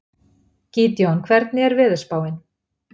Gídeon, hvernig er veðurspáin?